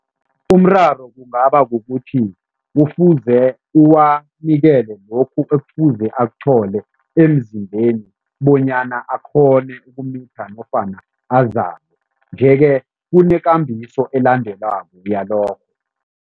Umraro kungaba kukuthi kufuze uwanikele lokhu ekufuze akuthole emzimbeni bonyana akghone ukumitha nofana azale nje-ke kunekambiso elandelwako yalokho.